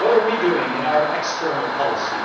What are we doing in our external policy?